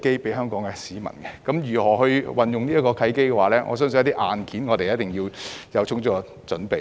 至於如何運用這契機，我相信在硬件方面一定要有充足的準備。